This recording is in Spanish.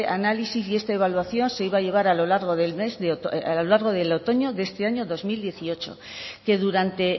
análisis y esta evaluación se iba a llevar a lo largo del otoño de este año dos mil dieciocho que durante